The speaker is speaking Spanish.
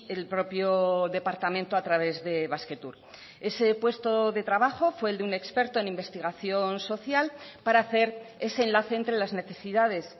el propio departamento a través de basquetour ese puesto de trabajo fue el de un experto en investigación social para hacer ese enlace entre las necesidades